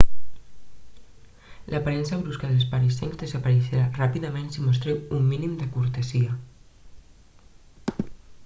l'aparença brusca dels parisencs desapareixerà ràpidament si mostreu un mínim de cortesia